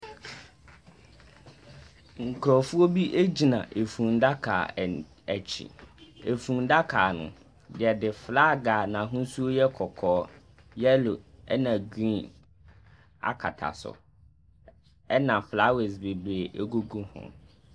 Nkurɔfoɔ bi gyina fundaka an akyi. Efundaka no, wɔde flag a n'ahosuo yɛ kɔkɔɔ, yellow ɛnna green akata so, ɛnna flowers bebree gugu ho.